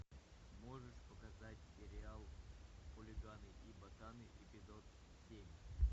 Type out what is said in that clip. можешь показать сериал хулиганы и ботаны эпизод семь